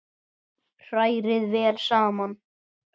Hrærið vel saman.